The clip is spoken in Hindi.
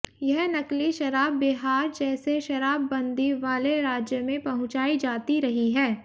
यह नकली शराब बिहार जैसे शराबबंदी वाले राज्य में पहुंचाई जाती रही है